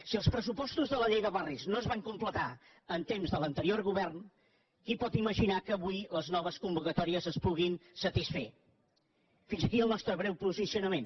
si els pressupostos de la llei de bar·ris no es van completar en temps de l’anterior govern qui pot imaginar que avui les noves convocatòries es puguin satisfer fins aquí el nostre breu posicionament